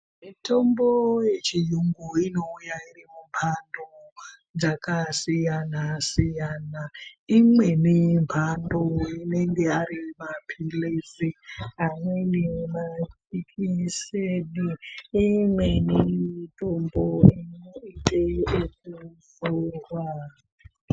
Mutombo yechiyungu inouya irimumbando dzakasiyana siyana. Imweni mbando inenge ari mapilizi amweni majekiseni imweni mitombo inoiteekuzorwa.